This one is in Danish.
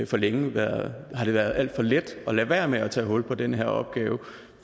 for længe været været alt for let at lade være med at tage hul på den her opgave